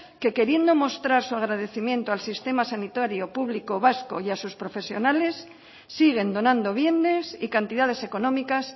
que queriendo mostrar su agradecimiento al sistema sanitario público vasco y a sus profesionales siguen donando bienes y cantidades económicas